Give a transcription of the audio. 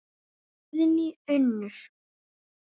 Guðný Unnur.